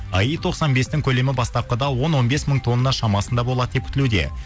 аи тоқсан бестің көлемі бастапқыда он он бес мың тонна шамасында болады деп күтілуде